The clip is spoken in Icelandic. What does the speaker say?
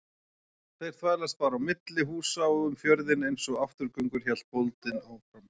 Þeir þvælast bara á milli húsa og um fjörðinn einsog afturgöngur, hélt bóndinn áfram.